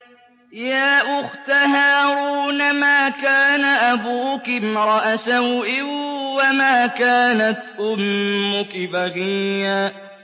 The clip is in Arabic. يَا أُخْتَ هَارُونَ مَا كَانَ أَبُوكِ امْرَأَ سَوْءٍ وَمَا كَانَتْ أُمُّكِ بَغِيًّا